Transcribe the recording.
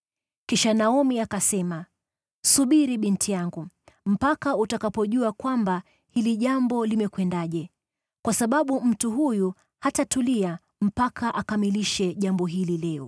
Kisha Naomi akasema, “Subiri binti yangu, mpaka utakapojua kwamba hili jambo limekwendaje. Kwa sababu mtu huyu hatatulia mpaka akamilishe jambo hili leo.”